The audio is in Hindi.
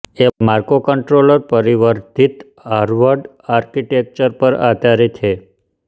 ये माक्रोकंट्रोलर परिवर्धित हार्वर्ड आर्किटेक्चर पर आधारित हैं